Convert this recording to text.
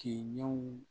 Ke ɲɛw